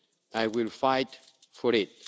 I will fight for it.